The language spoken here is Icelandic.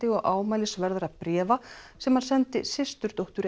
og bréfa sem hann sendi systurdóttur